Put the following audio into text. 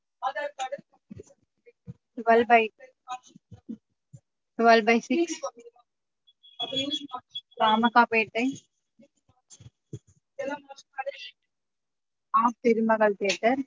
Twelve by twelve by six Ramakkapettai R Thirumagal theatre